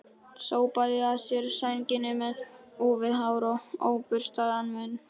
Sópaði að sér sænginni með úfið hár og óburstaðan munn.